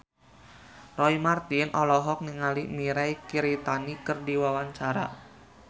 Roy Marten olohok ningali Mirei Kiritani keur diwawancara